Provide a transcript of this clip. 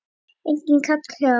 Enginn kall hjá